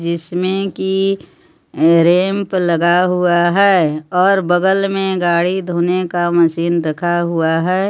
जिसमे की रैंप लगा हुआ है और बगल में गाड़ी धोने का मशीन रखा हुआ है.